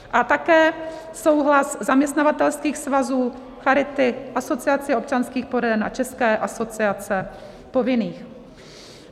A také souhlas zaměstnavatelských svazů, Charity, Asociace občanských poraden a České asociace povinných.